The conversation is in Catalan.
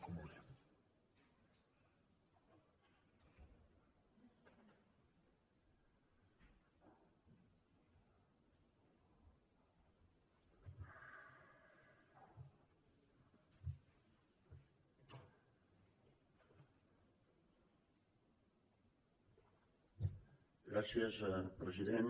gràcies president